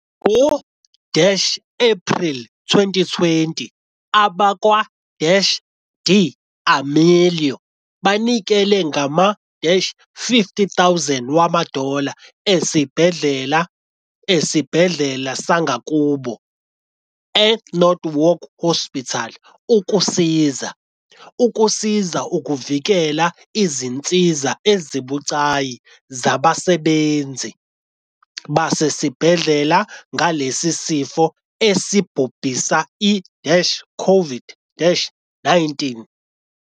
Ngo-Ephreli 2020, abakwa-D'Amelio banikela ngama- 50 000 wama-dollar esibhedlela esibhedlela sangakubo, eNorwalk Hospital, ukusiza ukusiza ukuvikela izinsiza ezibucayi zabasebenzi basesibhedlela ngalesi sifo esibhubhisa i-COVID-19.